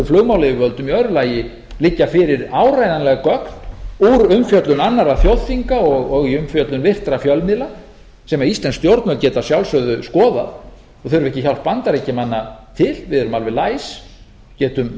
flugmálayfirvöldum í öðru lagi liggja fyrir áreiðanleg gögn úr umfjöllun annarra þjóðþinga og í umfjöllun virtra fjölmiðla sem íslensk stjórnvöld geta að sjálfsögðu skoðað og þurfa ekki hjálp bandaríkjamanna til við erum alveg læs